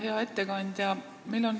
Hea ettekandja!